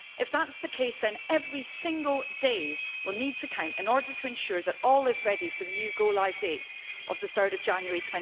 If that is the case then every single day we will need to count in order to ensure that all is ready for the new go-live date of 3 January